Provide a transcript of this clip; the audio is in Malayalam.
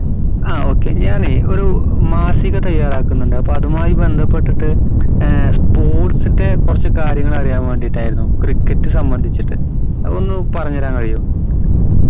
ആ okay ഞാന് ഒരു മാസിക തയ്യാറാക്കുന്നുണ്ട് അപ്പോ അതുമായി ബന്ധപെട്ടിട്ട് ഏർ sports ന്റെ കുറച്ച് കാര്യങ്ങൾ അറിയാൻ വേണ്ടീട്ടായിരുന്നു cricket സാംബന്ധിച്ചിട്ട് അതൊന്നു പറഞ്ഞരാൻ കയ്യോ